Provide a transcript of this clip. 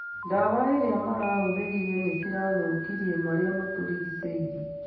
Dawa iria marahũthĩrire nĩ cirathũkirie marĩa matũrigicĩirie